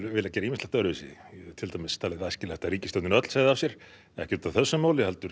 viljað gera ýmislegt öðru til dæmis að ríkisstjórnin öll segði af sér ekki út af þessu heldur